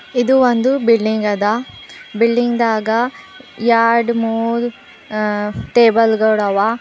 ಇದು ಒಂದು ಬಿಲ್ಡಿಂಗ್ ಅದ ಬಿಲ್ಡಿಂಗ್ ದಾಗ ಯಾಡ್ ಮೂರ್ ಆ ಟೇಬಲ್ ಗಳವ.